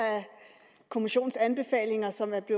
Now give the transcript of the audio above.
kommissionens anbefalinger